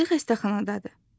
İndi xəstəxanadadır.